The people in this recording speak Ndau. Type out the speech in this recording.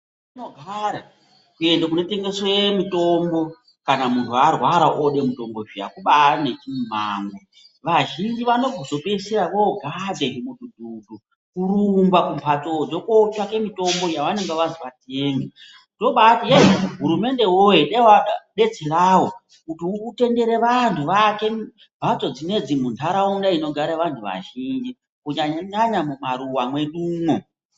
Kuenda kunotengeswe mutombo kana muntu arwara ode mutombo zviya kubari nechimumango vazhinji vanozopedzisira vogadhe nzvimudhudhudhu kurumba kumhatsodzo kotsvake mutombo yavanenge vazi vatenge tobati yei hurumende woye dai wadetserawo kuti utendere vantu vaake mhatso dzinedzi munharaunda dzinogara vantu vazhinji kunyanya nyanya mumaruwa mwedumo.